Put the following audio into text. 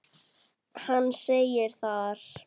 Hann segir þar